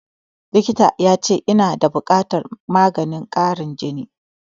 Likitan ya ce ina da buƙatan maganin ƙarin jini